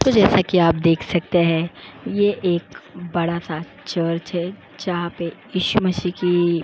तो जैसा कि आप देख सकते हैं ये एक बहुत बड़ा सा चर्च है जहां पे ईशु मसी की --